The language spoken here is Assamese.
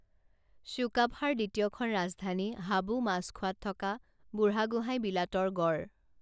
চ্যুকাফাৰ দ্বিতীয়খন ৰাজধানী হাবু মাছখোৱাত থকা বুঢ়াগোহাঁই বিলাতৰ গড়